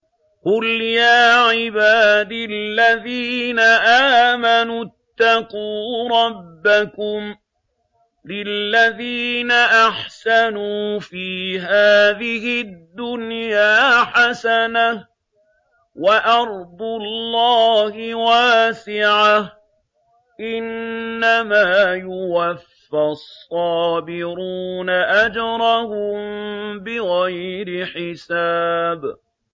قُلْ يَا عِبَادِ الَّذِينَ آمَنُوا اتَّقُوا رَبَّكُمْ ۚ لِلَّذِينَ أَحْسَنُوا فِي هَٰذِهِ الدُّنْيَا حَسَنَةٌ ۗ وَأَرْضُ اللَّهِ وَاسِعَةٌ ۗ إِنَّمَا يُوَفَّى الصَّابِرُونَ أَجْرَهُم بِغَيْرِ حِسَابٍ